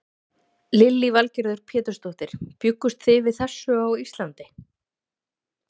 Lillý Valgerður Pétursdóttir: Bjuggust þið við þessu á Íslandi?